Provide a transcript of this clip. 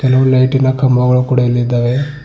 ಹಲವು ಲೈಟಿನ ಕಂಬಗಳು ಇಲ್ಲಿ ಇದ್ದಾವೆ.